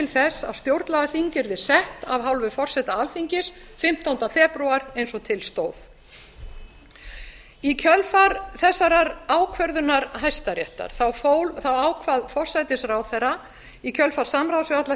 þess að stjórnlagaþing yrði sett af hálfu forseta alþingis fimmtánda febrúar eins og til stóð í kjölfar þessa ákvörðunar hæstaréttar ákvað forsætisráðherra í kjölfar samráðs við alla